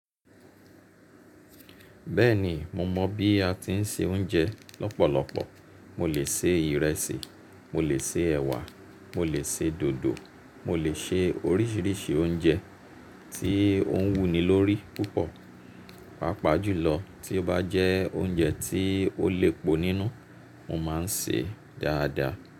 Bẹ́ẹ̀ni mo mọ̀ bí a ti ń se oúnjẹ lọ́pọ̀lọpọ̀. Mo lè se ìrẹsì, mo lè se ẹ̀wà, mo lè se dòdò, mo lè se oríṣiríṣi oúnjẹ tí ó ń wù ni lórí púpọ̀. Jùlọ tí ó bá jẹ́ oúnjẹ tí ó le pọ̀ nínú, mo máa ń ṣe dáadáa.